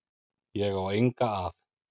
Ég á enga að.